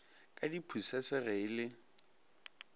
ka diphusese ge e le